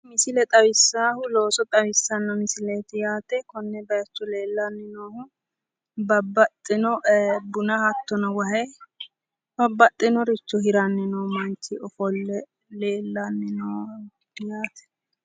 Misile xawissaahu, looso xawissaa misileeti yaate, kuni baayiichu leellanni noohu babbaxxino buna hattono wahe, babbaxxinoricho hiranni nooha hattono qole leellanno